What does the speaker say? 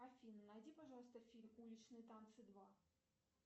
афина найди пожалуйста фильм уличные танцы два